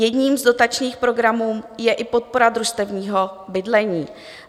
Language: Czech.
Jedním z dotačních programů je i podpora družstevního bydlení.